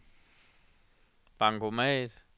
bankomat